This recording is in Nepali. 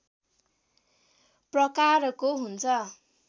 प्रकारको हुन्छ